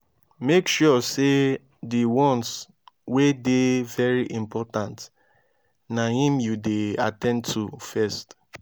mek sure sey di ones wey dey very important na im yu dey at ten d to first